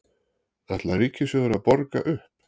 Ætlar Ríkissjóður að borga upp?